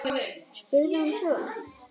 spurði hún svo.